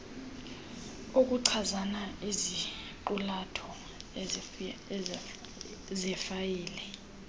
okuchaza iziqulatho zefayile